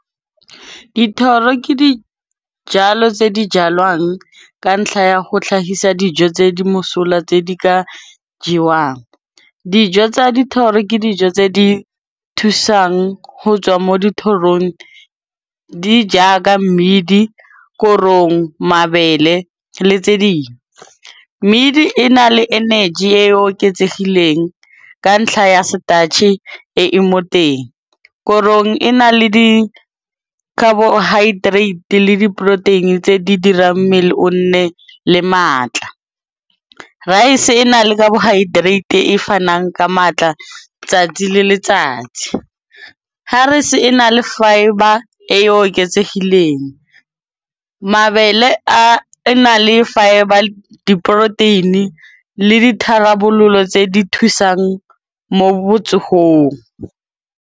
Dithoro ke dijalo tse di jalwang ka ntlha ya go tlhagisa dijo tse di mosola tse di ka jewang. Dijo tsa dithoro ke dijo tse di thusang ho tswa mo dithorong di jaaka mmidi, korong, mabele le tse ding. Mmidi e na le energy e oketsegileng ka ntlha ya starch-e e e moteng, korong e na le di-carbohydrate le di-protein-i tse di dirang mmele o nne le maatla. Rice e na le carbohydrate e fanang ka maatla 'tsatsi le letsatsi, harese e na le fibre e oketsegileng, mabele a na le fibre le di-protein-i le ditharabololo tse di thusang mo .